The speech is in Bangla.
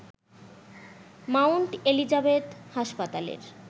মাউন্ট এলিজাবেথ হাসপাতালের